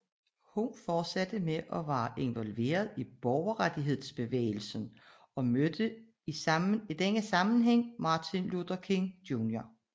Her fortsatte hun med at være involveret i borgerrettighedsbevægelsen og mødte i denne sammenhæng Martin Luther King Jr